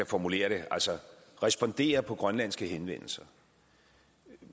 formulere det respondere på grønlandske henvendelser